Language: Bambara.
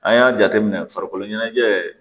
An y'a jateminɛ farikolo ɲɛnajɛ